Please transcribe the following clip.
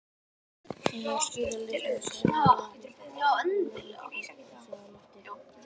Ég þarf að skila lyklunum, sagði Lóa og hélt heilagri Teresu á lofti.